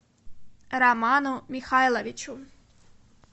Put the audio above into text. роману михайловичу